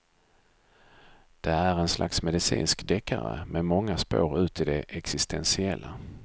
Det är en slags medicinsk deckare med många spår ut i det existentiella.